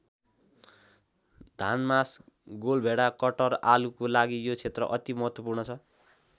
धान मास गोलभेडा कटहर आलुको लागि यो क्षेत्र अति महत्त्वपूर्ण छ।